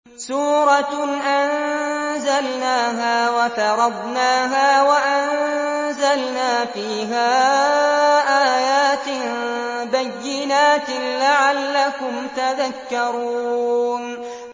سُورَةٌ أَنزَلْنَاهَا وَفَرَضْنَاهَا وَأَنزَلْنَا فِيهَا آيَاتٍ بَيِّنَاتٍ لَّعَلَّكُمْ تَذَكَّرُونَ